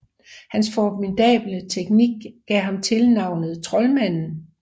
Hans formidable teknik gav ham tilnavnet troldmanden